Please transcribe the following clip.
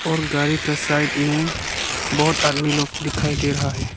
और गाड़ी का साइड में बहोत आदमी लोग दिखाई दे रहा है।